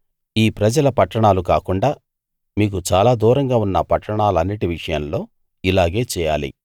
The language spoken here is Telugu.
ఈ ప్రజల పట్టణాలు కాకుండా మీకు చాలా దూరంగా ఉన్న పట్టణాలన్నిటి విషయంలో ఇలాగే చేయాలి